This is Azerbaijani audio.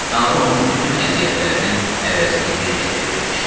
Tanrı onun bütün əziyyətlərinin əvəzini bir dəfəyə ödəmişdi.